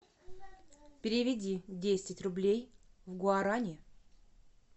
переведи десять рублей в гуарани